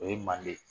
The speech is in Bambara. O ye manden